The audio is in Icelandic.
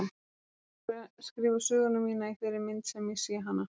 Ég er að skrifa söguna mína í þeirri mynd sem ég sé hana.